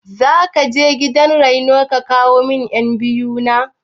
Zakaje gidan rainon ka kawo min ƴan biyu na?